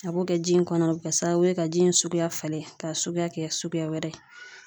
A b'o kɛ ji in kɔnɔ a bɛ kɛ sababu ye ka ji in suguya falen ka suguya kɛ suguya wɛrɛ ye